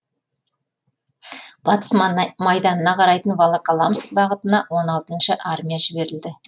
батыс майданына қарайтын волоколамск бағытына он алтыншы армия жіберілді